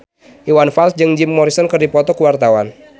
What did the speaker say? Iwan Fals jeung Jim Morrison keur dipoto ku wartawan